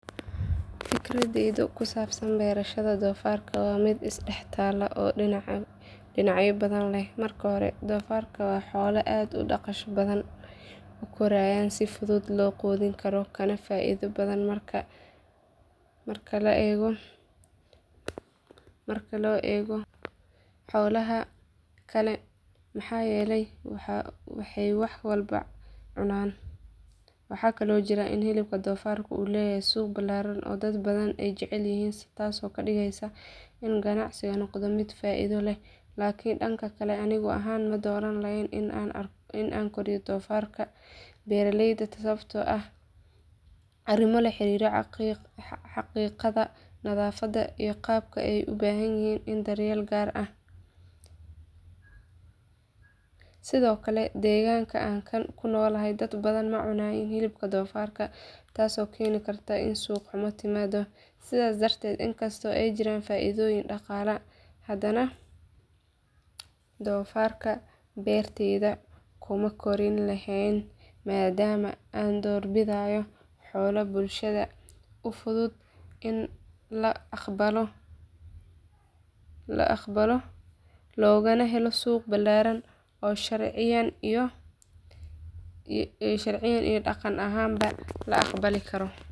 Fikradeyda ku saabsan beerashada doofaarka waa mid is dhex taal oo dhinacyo badan leh. Marka hore doofaarka waa xoolo aad u dhaqso badan u koraya oo si fudud loo quudin karo kana faa’iido badan marka loo eego xoolaha kale maxaa yeelay waxay wax walba cunaan. Waxaa kaloo jirta in hilibka doofaarka uu leeyahay suuq ballaaran oo dad badan ay jecel yihiin taasoo ka dhigeysa in ganacsigu noqdo mid faa’iido leh. Laakiin dhanka kale aniga ahaan ma dooran lahayn in aan koriyo doofaar beertayda sababtoo ah arrimo la xiriira caqiidada, nadaafadda iyo qaabka ay u baahan yihiin daryeel gaar ah. Sidoo kale deegaanka aan ku noolahay dad badan ma cuniyaan hilibka doofaarka taasoo keeni karta in suuq xumo timaaddo. Sidaas darteed inkastoo ay jirto faa’iido dhaqaale hadana doofaarka beertayda kuma kori lahaa maadaama aan doorbidayo xoolo bulshada u fudud in la aqbalo loogana helo suuq ballaaran oo sharciyan iyo dhaqan ahaanba la aqbali karo.